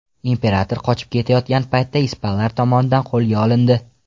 Imperator qochib ketayotgan paytda ispanlar tomonidan qo‘lga olindi.